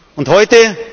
und